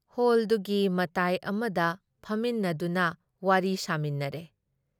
ꯍꯣꯜꯗꯨꯒꯤ ꯃꯇꯥꯏ ꯑꯃꯗ ꯐꯝꯃꯤꯟꯅꯗꯨꯅ ꯋꯥꯔꯤ ꯁꯥꯃꯤꯟꯅꯔꯦ ꯫